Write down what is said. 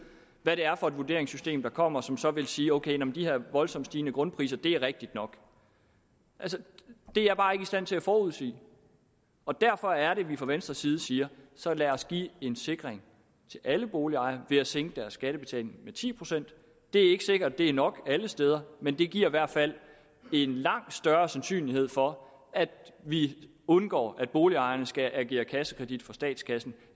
hvad det er for et vurderingssystem der kommer og som så vil sige ok de her voldsomt stigende grundpriser er rigtige nok altså det er jeg bare ikke i stand til at forudsige og derfor er det at vi fra venstres side siger så lad os give en sikring til alle boligejere ved at sænke deres skattebetaling med ti procent det er ikke sikkert det er nok alle steder men det giver i hvert fald en langt større sandsynlighed for at vi undgår at boligejerne skal agere kassekredit for statskassen